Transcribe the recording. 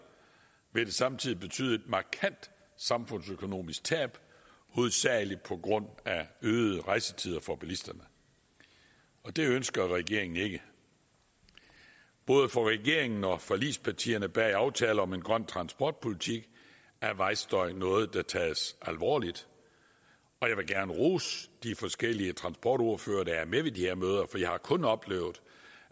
vil det samtidig betyde et markant samfundsøkonomisk tab hovedsagelig på grund af øgede rejsetider for bilisterne og det ønsker regeringen ikke både for regeringen og for forligspartierne bag aftale om en grøn transportpolitik er vejstøj noget der tages alvorligt og jeg vil gerne rose de forskellige transportordførere der er med ved de her møder for jeg har kun oplevet